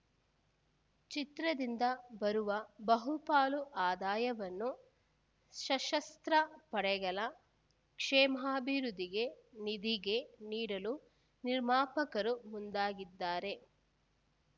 ಚಿತ್ರದಿಂದ ಬರುವ ಬಹುಪಾಲು ಆದಾಯವನ್ನು ಸಶಸ್ತ್ರ ಪಡೆಗಳ ಕ್ಷೇಮಾಭಿವೃದ್ಧಿಗೆ ನಿಧಿಗೆ ನೀಡಲು ನಿರ್ಮಾಪಕರು ಮುಂದಾಗಿದ್ದಾರೆ